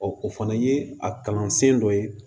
o fana ye a kalansen dɔ ye